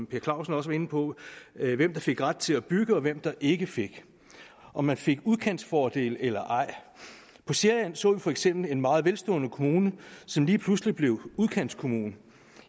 per clausen også var inde på hvem der fik ret til at bygge og hvem der ikke fik om man fik udkantsfordele eller ej på sjælland så vi for eksempel en meget velstående kommune som lige pludselig blev udkantskommune nu